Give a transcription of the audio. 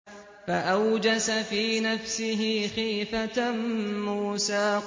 فَأَوْجَسَ فِي نَفْسِهِ خِيفَةً مُّوسَىٰ